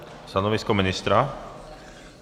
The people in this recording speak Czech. Stanovisko ministra?